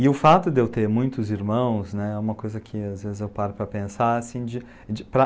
E o fato de eu ter muitos irmãos, né, é uma coisa que às vezes eu paro para pensar, assim de